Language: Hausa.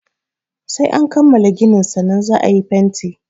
Sai an kammala ginin sannan za a yi fenti.